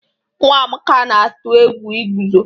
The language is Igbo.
Nwa Amaka na-atụ egwu iguzo.